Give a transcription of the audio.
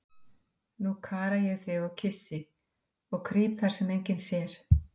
Nú kara ég þig og kyssi og krýp þar, sem enginn sér.